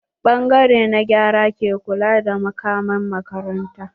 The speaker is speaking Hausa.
Ɓangare na gyara ke kula da makaman makaranta.